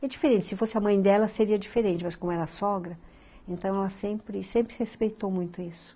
E é diferente, se fosse a mãe dela seria diferente, mas como era sogra, então ela sempre sempre se respeitou muito isso.